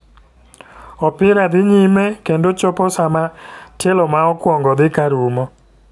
Opira dhi nyme kendo chopo sama tielo ma okuong'o dhi karumo.